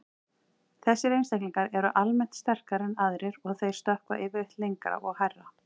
Þessir einstaklingar eru almennt sterkari en aðrir og þeir stökkva yfirleitt lengra og hærra.